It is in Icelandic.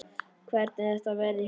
Hvernig þetta verði hjá mér.